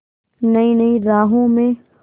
नई नई राहों में